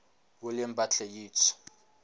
william butler yeats